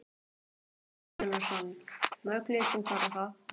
Síðan hvenær þekkir þú þessa stelpu?